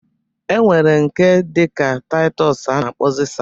E nwere nke dịka Taịtọs a na-akpọzi sadin